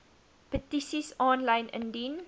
petisies aanlyn indien